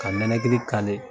Ka nɛnɛkili